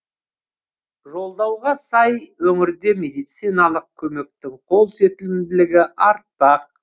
жолдауға сай өңірде медициналық көмектің қолсетімділігі артпақ